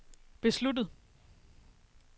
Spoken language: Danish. besluttet